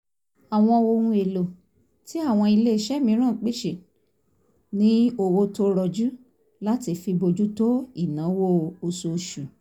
àwọn ohun èlò tí àwọn ilé iṣẹ́ míràn pèsè ní owó tó rọjú láti fi bójú tó ìnáwó oṣoosù